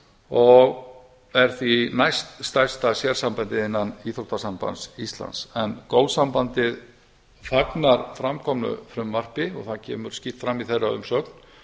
og er því næststærsta sérsambandið innan íþróttasambands íslands en golfsambandið fagnar fram komnu frumvarpi og það kemur skýrt fram í þeirra umsögn